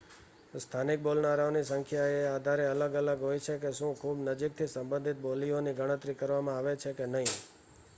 સ્થાનિક બોલનારાઓની સંખ્યા એ આધારે અલગ અલગ હોય છે કે શું ખૂબ નજીકથી સંબંધિત બોલીઓની ગણતરી કરવામાં આવે છે કે નહીં